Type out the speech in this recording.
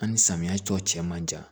An ni samiya tɔ cɛ man jan